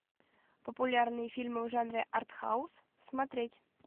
популярные фильмы в жанре артхаус смотреть